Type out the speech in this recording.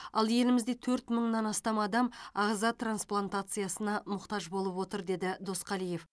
ал елімізде төрт мыңнан астам адам ағза трансплантациясына мұқтаж болып отыр деді досқалиев